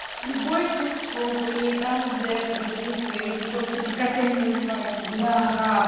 любой сексшоп или там где продаются эти господи как они называются бляха